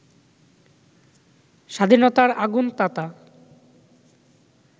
স্বাধীনতার আগুন-তাতা